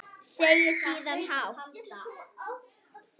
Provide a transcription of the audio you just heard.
Segir síðan hátt: